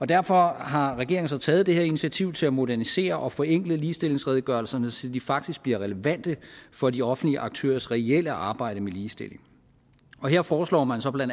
derfor har regeringen så taget det her initiativ til at modernisere og forenkle ligestillingsredegørelserne så de faktisk bliver relevante for de offentlige aktørers reelle arbejde med ligestilling her foreslår man så bla